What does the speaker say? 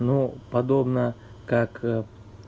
ну подобное как